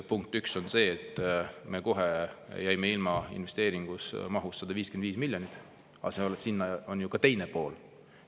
Punkt üks on see, et me kohe jäime ilma investeeringust mahus 155 miljonit eurot, aga seal on ju ka teine pool.